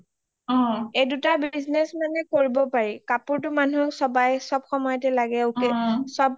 এইদুটা business মানে কৰিব পাৰি কাপোৰ টো মানুহ হওঁক ছবাই চব সময় তে লাগে অক্সাচিও চব